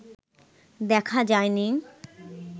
দেখা যায় নি